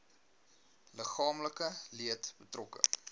liggaamlike leed betrokke